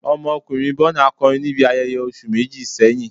Ọmọkunrin Burna kọrin ni ibi ayẹyẹ oṣu meji sẹhin